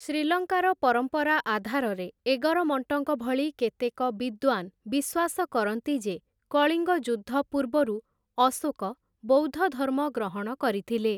ଶ୍ରୀଲଙ୍କାର ପରମ୍ପରା ଆଧାରରେ ଏଗରମଣ୍ଟଙ୍କ ଭଳି କେତେକ ବିଦ୍ୱାନ୍‌ ବିଶ୍ୱାସ କରନ୍ତି ଯେ କଳିଙ୍ଗ ଯୁଦ୍ଧ ପୂର୍ବରୁ ଅଶୋକ ବୌଦ୍ଧଧର୍ମ ଗ୍ରହଣ କରିଥିଲେ ।